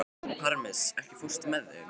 Parmes, ekki fórstu með þeim?